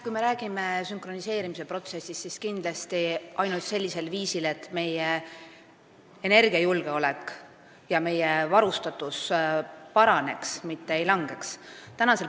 Kui me räägime sünkroniseerimise protsessist, siis see saab teoks kindlasti ainult sellisel viisil, et meie energiajulgeolek ja meie elektrivarustus paraneb, mitte ei halvene.